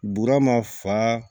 Bura ma fa